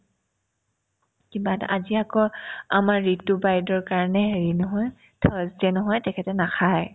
কিবা এটা আজি আকৌ আমাৰ ৰিতু বাইদেউৰ কাৰণে হেৰি নহয় thursday নহয় তেখেতে নাখায়